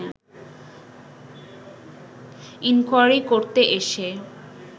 inquiry করতে এসে